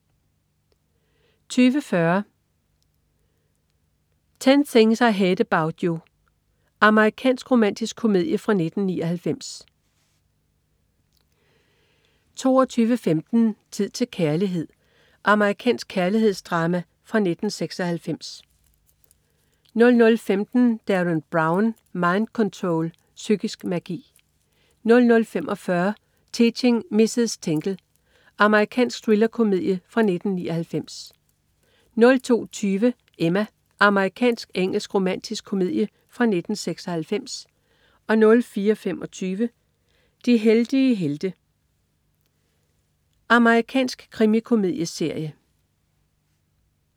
20.40 10 Things I Hate About You. Amerikansk romantisk komedie fra 1999 22.15 Tid til kærlighed. Amerikansk kærlighedsdrama fra 1996 00.15 Derren Brown. Mind Control. Psykisk magi 00.45 Teaching Mrs. Tingle. Amerikansk thrillerkomedie fra 1999 02.20 Emma. Amerikansk-engelsk romantisk komedie fra 1996 04.25 De heldige helte. Amerikansk krimikomedieserie